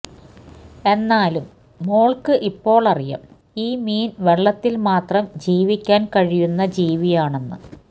എന്നാലും മോള്ക്ക് ഇപ്പോളറിയാം ഈ മീന് വെള്ളത്തില് മാത്രം ജീവിക്കാന് കഴിയുന്ന ജീവിയാണെന്ന്